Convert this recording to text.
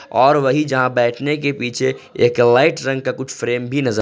और वहीं जहां बैठने के पीछे एक लाइट रंग का कुछ फ्रेम भी नजर--